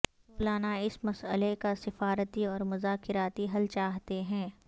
سولانا اس مسئلہ کا سفارتی اور مذاکراتی حل چاہتے ہیں